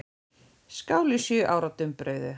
Skál í sjö ára dumbrauðu.